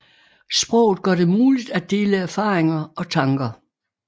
Sproget gør det muligt at dele erfaringer og tanker